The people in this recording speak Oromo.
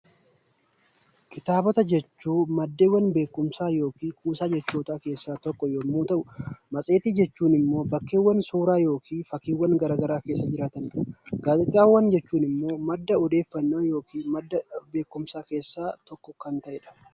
Kitaabota jechuun maddeen beekumsaa yookaan kuusaa jechootaa keessaa tokko yommuu ta'u, matseetii jechuun immoo bakkeewwan suuraa yookaan fakkiiwwan garaagaraa keessa jiran jechuudha. Gaazexaawwan jechuun immoo madda odeeffannoo yookiin madda odeeffannoo keessaa tokko kan ta'edha.